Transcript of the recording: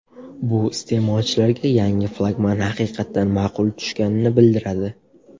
Bu iste’molchilarga yangi flagman haqiqatan ma’qul tushganini bildiradi.